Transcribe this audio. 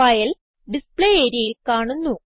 file display areaയിൽ കാണുന്നു